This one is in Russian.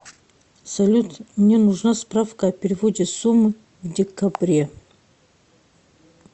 салют мне нужна справка о переводе суммы в декабре